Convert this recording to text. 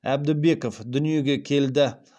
әбдібеков дүниеге келді